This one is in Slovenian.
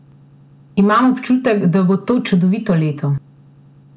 Imam občutek, da bo to čudovito leto!